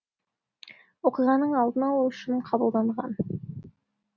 оқиғаның алдын алу үшін қабылданған